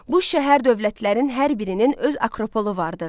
Bu şəhər dövlətlərin hər birinin öz akropolu vardı.